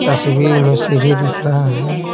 तस्वीर में सीढ़ी दिख रहा है।